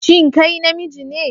Shin kai namiji ne?